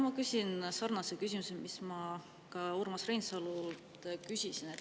Ma küsin sarnase küsimuse, mille ma küsisin ka Urmas Reinsalult.